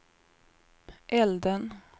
elden